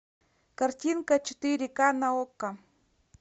картинка четыре ка на окко